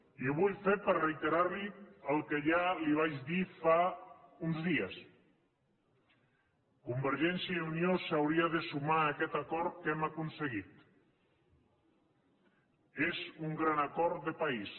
i ho vull fer per reiterar li el que ja li vaig dir fa uns dies convergència i unió s’hauria de sumar a aquest acord que hem aconseguit és un gran acord de país